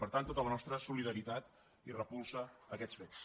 per tant tota la nostra solidaritat i repulsa a aquest fets